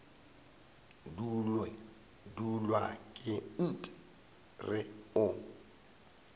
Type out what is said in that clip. dulwa ke nt re o